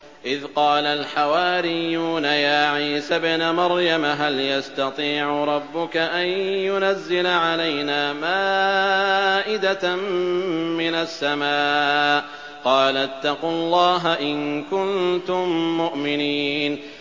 إِذْ قَالَ الْحَوَارِيُّونَ يَا عِيسَى ابْنَ مَرْيَمَ هَلْ يَسْتَطِيعُ رَبُّكَ أَن يُنَزِّلَ عَلَيْنَا مَائِدَةً مِّنَ السَّمَاءِ ۖ قَالَ اتَّقُوا اللَّهَ إِن كُنتُم مُّؤْمِنِينَ